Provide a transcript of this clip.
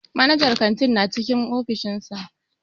Manajan kantin na cikin ofishin sa.